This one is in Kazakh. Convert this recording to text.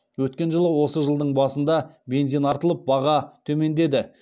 өткен жылы осы жылдың басында бензин артылып баға төмендеді